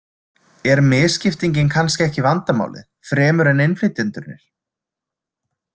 Er misskiptingin kannski ekki vandamálið, fremur en innflytjendurnir?